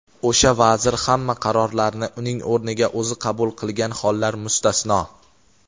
o‘sha vazir hamma qarorlarni uning o‘rniga o‘zi qabul qilgan hollar mustasno.